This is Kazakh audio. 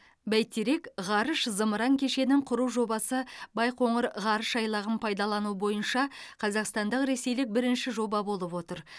бәйтерек ғарыш зымыран кешенін құру жобасы байқоңыр ғарыш айлағын пайдалану бойынша қазақстандық ресейлік бірінші жоба болып отыр